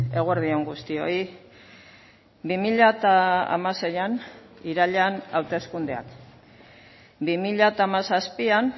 eguerdi on guztioi bi mila hamaseian irailean hauteskundeak bi mila hamazazpian